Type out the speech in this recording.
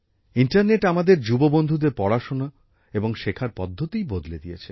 internet আমাদের যুববন্ধুদের পড়াশোনা এবং শেখার পদ্ধতিই বদলে দিয়েছে